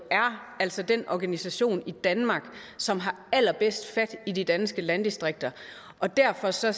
altså er den organisation i danmark som har allerbedst fat i de danske landdistrikter og derfor ser